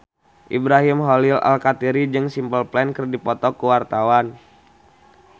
Ibrahim Khalil Alkatiri jeung Simple Plan keur dipoto ku wartawan